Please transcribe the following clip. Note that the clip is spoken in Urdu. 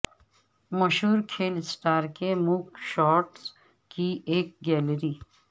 مشہور کھیل اسٹار کے موگ شاٹس کی ایک گیلری